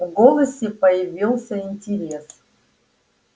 в голосе появился интерес